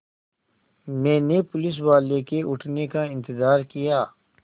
मैंने पुलिसवाले के उठने का इन्तज़ार किया